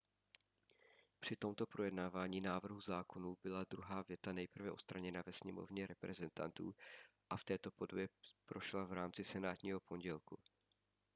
při tomto projednávání návrhu zákonů byla druhá věta nejprve odstraněna ve sněmovně reprezentantů a v této podobě prošla v rámci senátního pondělku